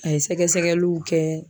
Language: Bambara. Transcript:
A ye sɛgɛsɛgɛliw kɛ.